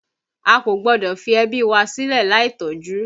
A kò gbọ́dọ̀ fi ẹbí wa sílè láì tọ́jú